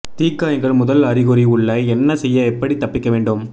தீக்காயங்கள் முதல் அறிகுறி உள்ள என்ன செய்ய எப்படி தப்பிக்க வேண்டும்